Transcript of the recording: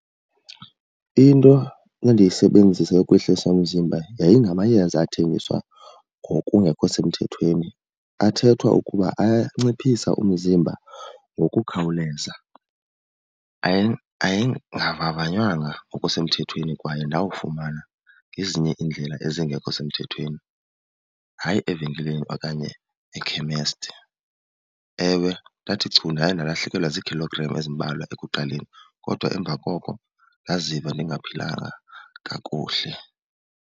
Into endiyisebenzisa ukwehlisa umzimba yayingamayeza athengiswa ngokungekho semthethweni. Athethwa ukuba anciphisa umzimba ngokukhawuleza. Ayengavavanywanga ngokusemthethweni kwaye ndawafumana ngezinye iindlela ezingekho semthethweni, hayi evenkileni okanye ekhemesti. Ewe, ndathi chu ndaye ndalahlekelwa zii-kilogram ezimbalwa ekuqaleni kodwa emva koko ndaziva ndingaphilanga kakuhle.